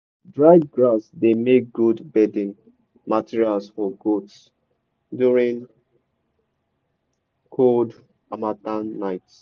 dried grass dey make good bedding material for goats during cold harmattan nights.